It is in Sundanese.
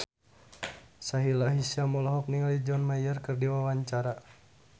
Sahila Hisyam olohok ningali John Mayer keur diwawancara